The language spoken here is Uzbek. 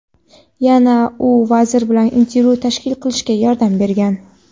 Yana u vazir bilan intervyu tashkil qilishga yordam bergan.